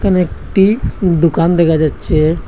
এখানে একটি দুকান দেখা যাচ্ছে।